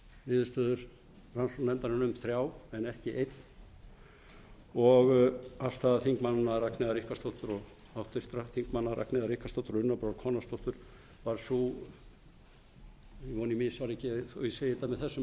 niðurstöður rannsóknarnefndarinnar um þrjá en ekki einn og afstaða háttvirts þingmanns ragnheiðar ríkharðsdóttur og unnar brá konráðsdóttur var sú ég vona að ég misfari ekki með það þó ég segi það með